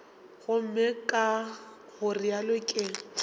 gomme ka go realo ke